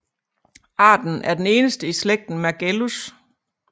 Arten er den eneste i slægten Mergellus